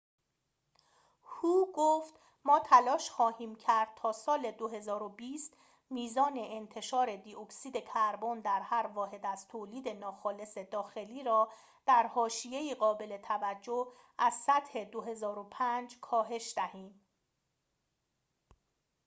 هو گفت ما تلاش خواهیم کرد تا سال ۲۰۲۰ میزان انتشار دی اکسید کربن در هر واحد از تولید ناخالص داخلی را در حاشیه‌ای قابل توجه از سطح ۲۰۰۵ کاهش دهیم